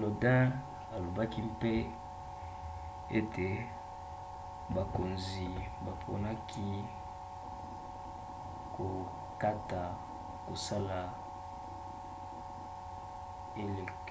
lodin alobaki mpe ete bakonzi baponaki kokata kosala